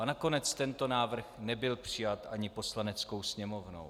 A nakonec tento návrh nebyl přijat ani Poslaneckou sněmovnou.